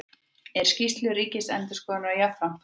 Er skýrslu Ríkisendurskoðunar jafnframt fagnað